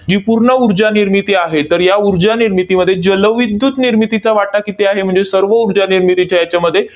ही पूर्ण ऊर्जा निर्मिती आहे. तर या ऊर्जा निर्मितीमध्ये जलविद्युत निर्मितीचा वाटा किती आहे? म्हणजे सर्व ऊर्जा निर्मितीच्या हेच्यामध्ये